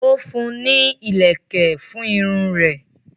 o fún ní ìlèkè fún Irun rè.